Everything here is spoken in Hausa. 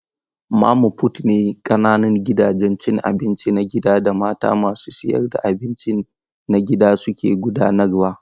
Mama fut ne ƙananan gidajen cin abinci na gida da mata masu sayar da abinci na gida suke gudanarwa.